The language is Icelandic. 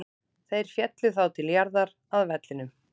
Þeir féllu þá til jarðar, að vellinum.